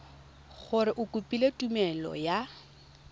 gore o kopile tumelelo ya